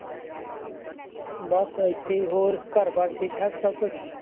ਬਸ ਇੱਥੇ ਹੀ ਹੋਰ ਘਰ ਬਾਰ ਠੀਕ ਠਾਕ ਸਭ ਕੁਛ।